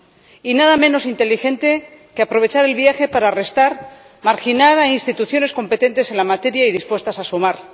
Y nada menos inteligente que aprovechar el viaje para restar, marginar a instituciones competentes en la materia y dispuestas a sumar.